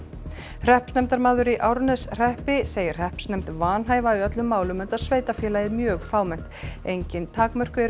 hreppsnefndarmaður í Árneshreppi segir hreppsnefnd vanhæfa í öllum málum enda sveitarfélagið mjög fámennt engin takmörk eru